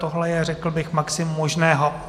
Tohle je, řekl bych, maximum možného.